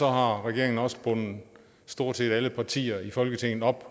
har regeringen også bundet stort set alle partier i folketinget op